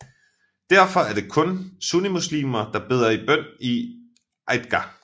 Derfor er det kun sunnimuslimer der beder bøn i en Eidgah